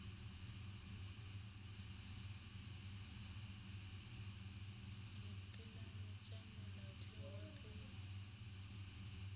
dipeelano tša molaotheo wa pele